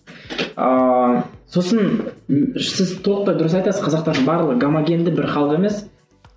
ыыы сосын сіз толықтай дұрыс айтасыз қазақтардың барлығы гомогенді бір халық емес